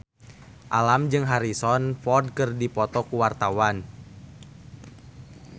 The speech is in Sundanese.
Alam jeung Harrison Ford keur dipoto ku wartawan